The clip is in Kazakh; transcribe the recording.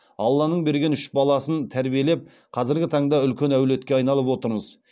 алланың берген үш баласын тәрбиелеп қазіргі таңда үлкен әулетке айналып отырмыз